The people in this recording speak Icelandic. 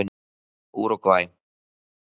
Úrúgvæ